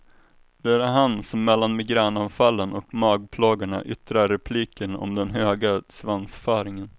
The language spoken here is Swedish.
Det är han som mellan migränanfallen och magplågorna yttrar repliken om den höga svansföringen.